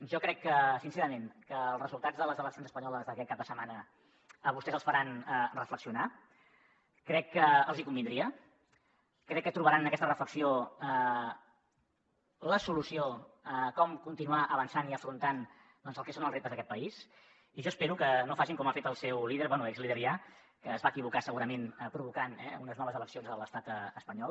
jo crec que sincerament els resultats de les eleccions espanyoles d’aquest cap de setmana a vostès els faran reflexionar crec que els hi convindria crec que trobaran en aquesta reflexió la solució a com continuar avançant i afrontant el que són els reptes d’aquest país i jo espero que no facin com ha fet el seu líder bé exlíder ja que es va equivocar segurament provocant unes noves eleccions a l’estat espanyol